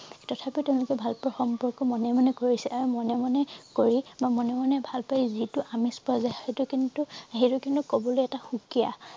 তথাপিও তেওঁলোকে ভাল পোৱাৰ সম্পৰ্ক মনে মনে কৰিছে মনে মনে কৰি বা মনে মনে ভাল পায় যিটো আমেজ পোৱা যায় সেইটো কিন্তু সেইটো কিন্তু কবলৈ এটা সুকীয়া